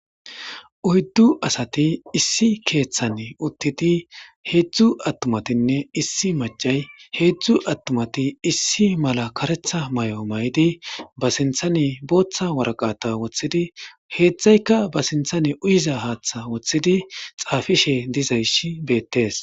oyddu Asati issi kethan uttidi hezhzhu atumatine issi macca hezhzhu atumatine issi Mala kareththa Mayo mayidi ba sinthan Botha waraqqata wothiddi hezhzhayika ba sinththan uyiza haththa wothiddi hezhzhayika dapishe dizayssi betees